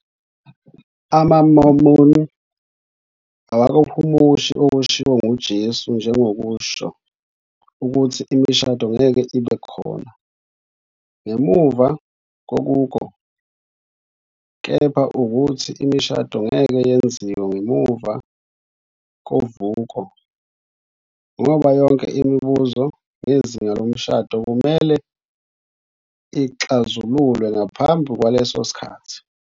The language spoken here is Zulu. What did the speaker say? AmaMormon awakuhumushi okushiwo nguJesu njengokusho "ukuthi imishado ngeke ibe "khona" ngemuva kovuko, kepha ukuthi imishado ngeke "yenziwe" ngemuva kovuko, ngoba yonke imibuzo ngezinga lomshado kumele ixazululwe ngaphambi kwalesosikhathi."